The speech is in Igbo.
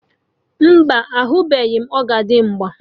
Mba, ahụbeghị m ọzọdimgba